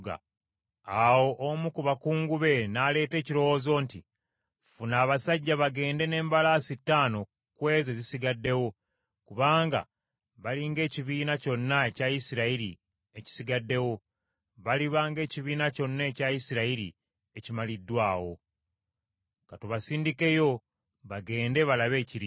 Awo omu ku bakungu be n’aleeta ekirowoozo nti, “Ffuna abasajja bagende n’embalaasi ttaano ku ezo ezisigaddewo, kubanga bali ng’ekibiina kyonna ekya Isirayiri ekisigaddewo; baliba ng’ekibiina kyonna ekya Isirayiri ekimaliddwawo. Ka tubasindikeyo bagende balabe ekiriyo.”